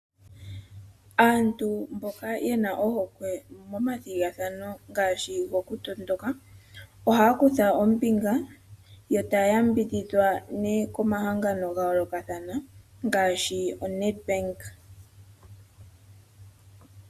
Aantu mboka ye na ohokwe momathigathano ngaashi gokutondoka ohaya kutha ombinga yo taya yambidhidjwa ne komahangano ga yookathana ngaashi oNed Bank.